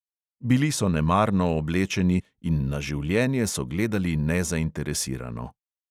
Bili so nemarno oblečeni in na življenje so gledali nezainteresirano.